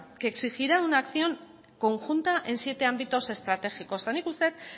que exigirá una acción conjunta en siete ámbitos estratégicos nik uste dut